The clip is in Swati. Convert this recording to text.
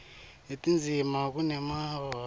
netindzima kunemaphutsa kodvwa